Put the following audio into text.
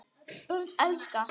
Börn elska.